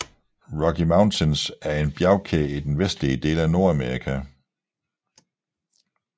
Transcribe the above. Rocky Mountains er en bjergkæde i den vestlige del af Nordamerika